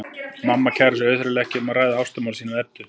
Mamma kærir sig auðheyrilega ekki um að ræða ástamál sín við Eddu.